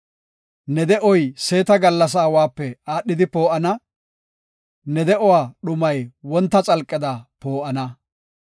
Ne de7oy seeta gallasa awape aadhidi poo7ana; ne de7uwa dhumay wonta xalqeda poo7ana.